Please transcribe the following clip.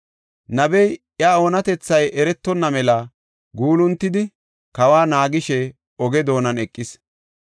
Nabey iya oonatethay eretonna mela guuluntidi kawa naagishe oge doonan eqis.